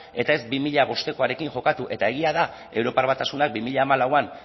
eta ez bi mila bostekoarekin jokatu eta egia da europar batasunak bi mila hamalauan